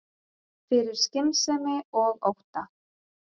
Fyrir skynsemi og ótta